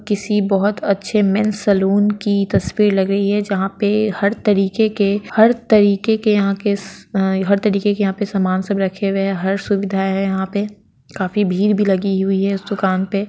किसी बहुत अच्छे मेंस सलून की तस्वीर लग रही है जहाँ पे हर तरीके के हर तरीके के यहाँ के अ हर तरीके के यहां पे सामान सब रखे हुए है हर सुविधा है यहाँ पे काफी भीड़ भी लगी हुई है इस दुकान पे।